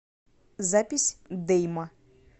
запись дейма